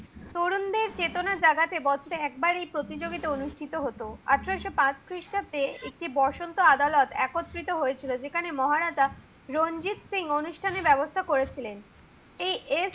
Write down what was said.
তরুণদের চেতনা জাগাতে বছরে একবার এই প্রতিযোগিতা অনুষ্ঠিত হত। আঠারোশ পাঁচ খ্রিষ্টাব্দে বসন্ত আদালত একত্রিত হয়েছিল। যেখানে মজারাজা রঞ্জিত সিং অনুষ্ঠানের ব্যবস্থা করেছিলেন। এই